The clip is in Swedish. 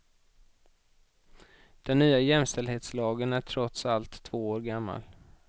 Den nya jämställdhetslagen är trots allt två år gammal.